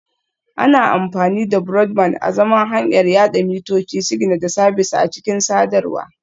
Ana amfani da Broadband azaman hanyar yada mitoci, sigina da sabis a cikin sadarwa